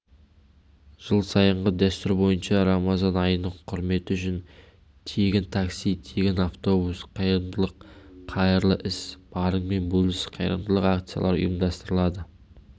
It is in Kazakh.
жыл сайынғы дәстүр бойынша рамазан айының құрметі үшін тегін такси тегін автобус қайырымдылық қайырлы іс барыңмен бөліс қайырымдылық акциялар ұйымдастырылады